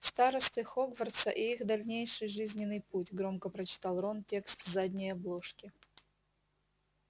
старосты хогвартса и их дальнейший жизненный путь громко прочитал рон текст с задней обложки